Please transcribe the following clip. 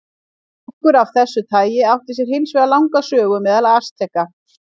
Drykkur af þessu tagi átti sér hins vegar langa sögu meðal Asteka.